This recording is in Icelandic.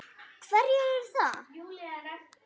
Hverjir eru það?